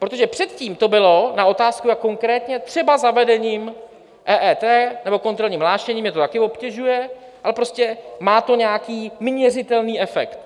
Protože předtím to bylo na otázku, jak konkrétně, třeba zavedením EET nebo kontrolním hlášením - mě to také obtěžuje, ale prostě má to nějaký měřitelný efekt.